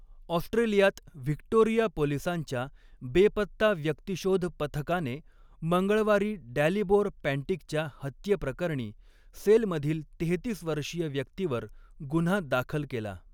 ऑस्ट्रेलियात व्हिक्टोरिया पोलिसांच्या बेपत्ता व्यक्तीशोध पथकाने मंगळवारी डॅलिबोर पँटिकच्या हत्येप्रकरणी सेल मधील तेहेतीस वर्षीय व्यक्तीवर गुन्हा दाखल केला.